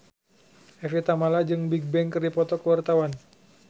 Evie Tamala jeung Bigbang keur dipoto ku wartawan